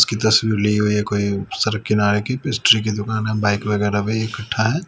की तस्वीर ली हुई है कोई सड़क किनारे की पेस्ट्री की दुकान है बाइक वगैरह इकट्ठा है।